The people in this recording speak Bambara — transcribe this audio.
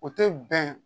O tɛ bɛn